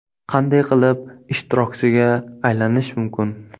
Qanday qilib ishtirokchiga aylanish mumkin?